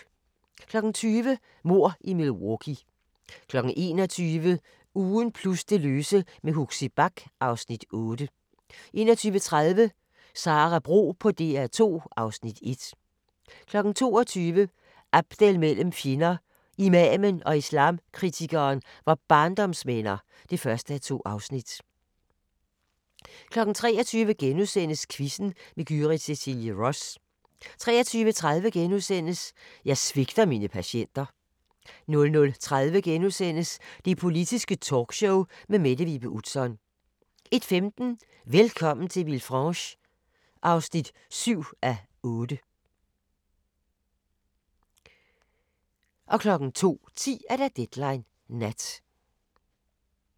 20:00: Mord i Milwaukee 21:00: Ugen plus det løse med Huxi Bach (Afs. 8) 21:30: Sara Bro på DR2 (Afs. 1) 22:00: Abdel mellem fjender: Imamen og islamkritikeren var barndomsvenner (1:2) 23:00: Quizzen med Gyrith Cecilie Ross * 23:30: Jeg svigter mine patienter * 00:30: Det Politiske Talkshow med Mette Vibe Utzon * 01:15: Velkommen til Villefranche (7:8) 02:10: Deadline Nat